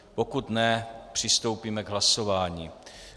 Pokud ne, přistoupíme k hlasování.